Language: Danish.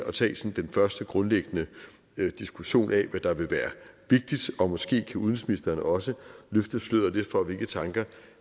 at tage den første grundlæggende diskussion af hvad der vil være vigtigt og måske kan udenrigsministeren også løfte sløret lidt for hvilke tanker